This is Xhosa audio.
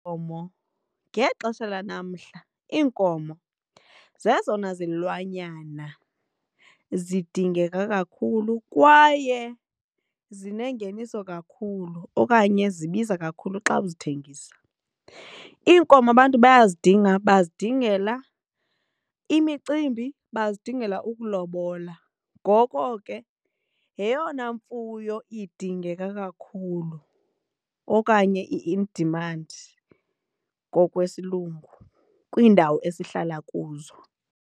Iinkomo ngexesha lanamhla iinkomo zezona zilwanyana zidingeka kakhulu kwaye zinengeniso kakhulu okanye zibiza kakhulu xa uzithengisa. Iinkomo abantu bayayidinga bazidingela imicimbi, bazidingela ukulobola. Ngoko ke yeyona mfuyo idingeka kakhulu okanye i-in demand kanti ngokwesilungu kwiindawo esihlala kuzo.